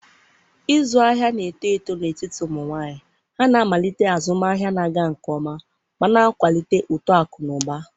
ịzụ ahịa na-eto eto n'etiti ụmụ nwanyị. Ha na-amalite azụmahịa na-aga nke ọma ma na-akwalite uto akụ na ụba.